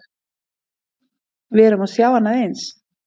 Við erum að sjá annað eins?